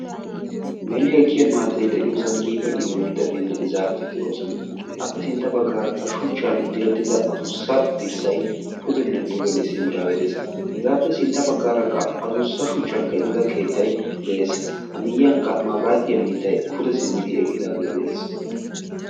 meli ekkiya maatay de'iyoosan qiiba qiiba maatatinne zaafeti de'oosona, appe sintta bagaarakka shuchchan direttida addussa dirssay pudene dugenne simmidaage de'ees. hegaappe sintta baggaarakka addussa shuchchan keexxettida keettay de'ees. a miyyiyankka mabaratiya mittay pude simmidi eqqidaage de'ees.